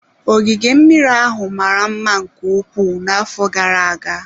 Ogige mmiri ahụ mara mma nke ukwuu n'afọ gara-aga.